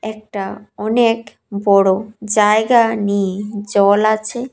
এটা অনেক বড়ো জায়গা নিয়ে জল আছে।